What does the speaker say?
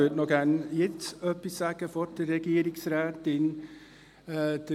Ich möchte gerne noch etwas sagen, bevor die Regierungsrätin spricht.